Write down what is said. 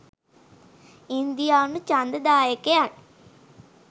ඉන්දියානු ඡන්ද දායකයන්